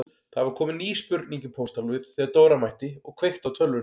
Það var komin ný spurning í pósthólfið þegar Dóra mætti og kveikti á tölvunni.